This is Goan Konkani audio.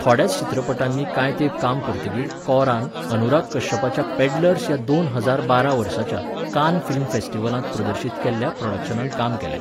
थोड्याच चित्रपटांनी कांय तेंप काम करतकीर कौरान, अनुराग कश्यपाच्या पॅडलर्स ह्या दोन हजार बारा वर्साच्या, कान फिल्म फॅस्टिवलांत प्रदर्शीत केल्ल्या, प्रॉडक्शनांत काम केलें.